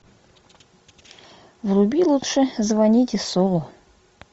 вруби лучше звоните солу